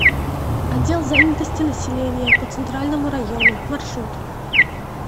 отдел занятости населения по центральному району маршрут